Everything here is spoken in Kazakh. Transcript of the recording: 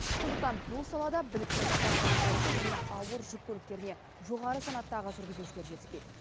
сондықтан бұл салада білікті кран басқарушы және ауыр жүк көліктеріне жоғары санаттағы жүргізушілер жетіспейді